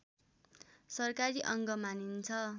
सरकारी अङ्ग मानिन्छ